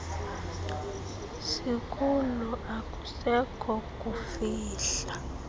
sikulo akusekho kufihla